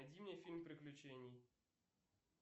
найди мне фильм приключений